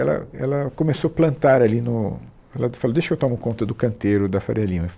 Ela, ela começou a plantar ali no... Ela di, falou, deixa que eu tomo conta do canteiro da Faria Lima.